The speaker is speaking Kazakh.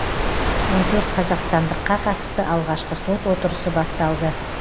он төрт қазақстандыққа қатысты алғашқы сот отырысы басталды